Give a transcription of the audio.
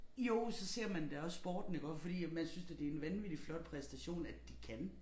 Jo så ser man da også sporten iggå fordi at man synes da det en vanvittig flot præstation at de kan